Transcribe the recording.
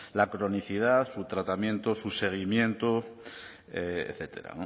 la cronicidad su tratamiento su seguimiento etcétera